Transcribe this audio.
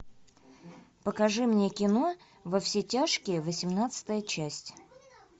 покажи мне кино во все тяжкие восемнадцатая часть